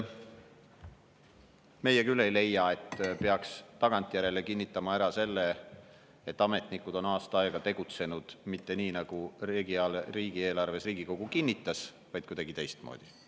Meie küll ei leia, et peaks tagantjärele kinnitama ära selle, et ametnikud on aasta aega tegutsenud mitte nii, nagu Riigikogu kinnitatud riigieelarve, vaid kuidagi teistmoodi.